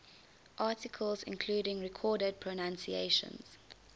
articles including recorded pronunciations